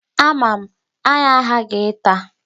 Ama m, anyị aghaghị ịta.